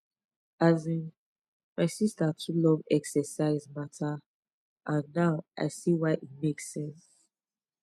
asin my sister too love exercise matter and now i see why e make sense